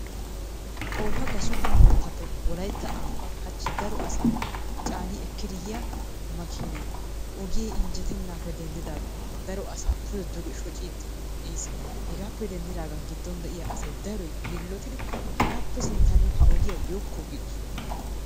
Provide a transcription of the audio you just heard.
Oofa gasuubba moottaappe wolaytta ambbaa hachchi daro asaa caani ekkidi yiya makiinay ogee injjetennaappe denddidaagan daro asaa pude duge shociiddi ehiis. Hegaappe denddidaagan giddon de'iya asay daroy yiillotidi hagaappe sinttan nu ha ogiya yookko giidosona.